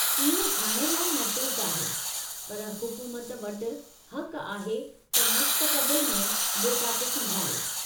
इहो हाणे लाइ महफूज़ु आहे, पर हुकूमत वटि हक़ु आहे त मुस्तक़बिलु में डेटा खे संभाले।